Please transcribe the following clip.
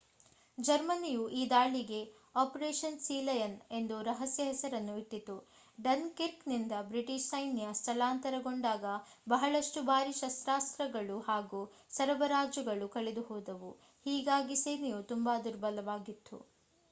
ಜರ್ಮನಿಯು ಈ ದಾಳಿಗೆ ಅಪರೇಷನ್ ಸೀಲಯನ್ ಎಂದು ರಹಸ್ಯ ಹೆಸರನ್ನು ಇಟ್ಟಿತು ಡನ್ ಕಿರ್ಕ್ ನಿಂದ ಬ್ರಿಟಿಷ್ ಸೈನ್ಯ ಸ್ಥಳಾಂತರಗೊಂಡಾಗ ಬಹಳಷ್ಟು ಭಾರಿ ಶಸ್ತ್ರಾಸ್ತ್ರಗಳು ಹಾಗೂ ಸರಬರಾಜುಗಳು ಕಳೆದುಹೋದವು ಹೀಗಾಗಿ ಸೇನೆಯು ತುಂಬಾ ದುರ್ಬಲವಾಗಿತ್ತು